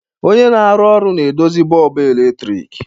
Onye na-arụ ọrụ na-edozi bọlbụ eletrik.